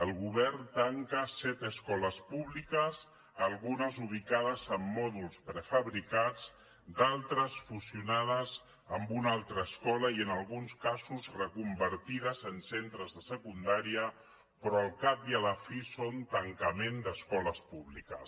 el govern tanca set escoles públiques algunes ubicades en mòduls prefabricats d’altres fusionades amb una altra escola i en alguns casos reconvertides en centres de secundària però al cap i a la fi són tancaments d’escoles públiques